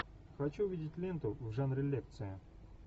хочу увидеть ленту в жанре лекция